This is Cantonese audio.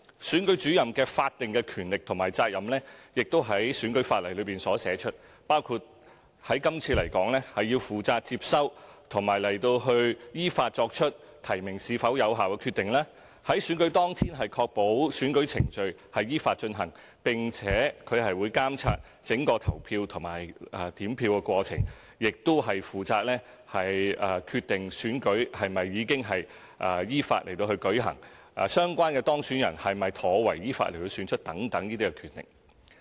選舉主任的法定權力和責任亦已在選舉法例中列出，包括：在今次選舉來說，負責接收和依法作出提名是否有效的決定、在選舉當日確保選舉程序依法進行，並且監察整個投票和點票過程，亦負責決定選舉是否已經依法舉行、相關的當選人是否妥為依法選出等。